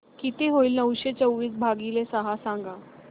किती होईल नऊशे चोवीस भागीले सहा सांगा